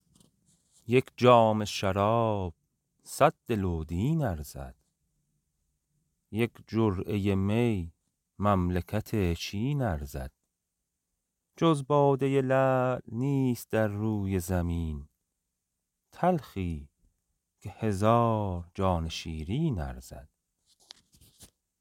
یک جام شراب صد دل و دین ارزد یک جرعه می مملکت چین ارزد جز باده لعل نیست در روی زمین تلخی که هزار جان شیرین ارزد